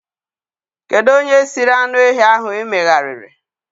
Kedu onye siri anụ ehi ahụ emegharịrị?